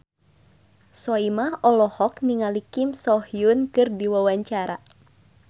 Soimah olohok ningali Kim So Hyun keur diwawancara